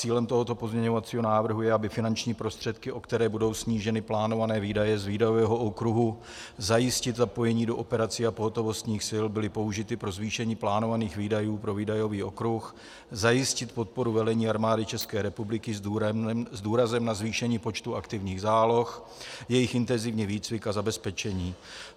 Cílem tohoto pozměňovacího návrhu je, aby finanční prostředky, o které budou sníženy plánované výdaje z výdajového okruhu zajistit zapojení do operací a pohotovostních sil, byly použity pro zvýšení plánovaných výdajů pro výdajový okruh zajistit podporu velení Armády České republiky s důrazem na zvýšení počtu aktivních záloh, jejich intenzivní výcvik a zabezpečení.